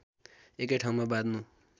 एकै ठाउँमा बाँध्नु